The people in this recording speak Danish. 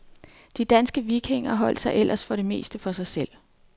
De danske vikinger holdt sig ellers for det meste for sig selv.